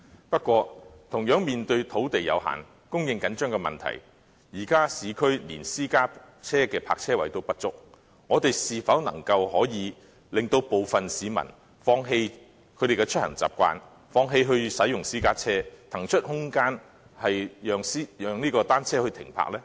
不過，同樣由於土地有限，供應緊張的問題，現時市區連私家車的泊車位也不足，我們是否能夠令部分市民放棄他們的出行習慣，放棄使用私家車，騰出空間讓單車停泊呢？